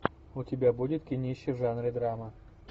у тебя будет кинище в жанре драма